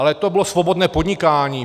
Ale to bylo svobodné podnikání.